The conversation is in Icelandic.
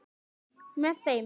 Með þeim